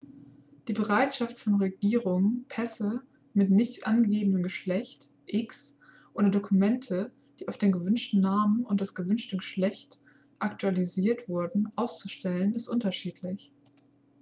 die bereitschaft von regierungen pässe mit nicht angegebenem geschlecht x oder dokumente die auf den gewünschten namen und das gewünschte geschlecht aktualisiert wurden auszustellen ist unterschiedlich